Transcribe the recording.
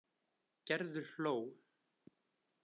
Gerður hló.